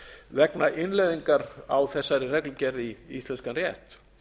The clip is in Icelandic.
vegna innleiðingar á þessari reglugerð í íslenskan rétt